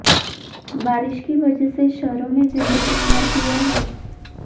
बारिश की वजह से शहरों में जिंदगी नारकीय है